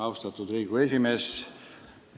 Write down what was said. Austatud Riigikogu esimees!